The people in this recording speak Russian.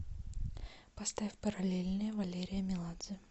поставь параллельные валерия меладзе